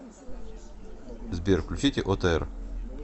сбер включите отр